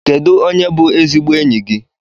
Kedu onye bú ezigbo enyi gị?